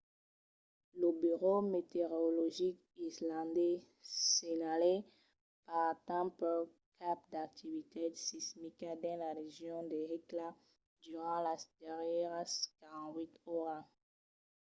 lo burèu meteorologic islandés senhalèt pas tanpauc cap d'activitat sismica dins la region de hekla durant las darrièras 48 oras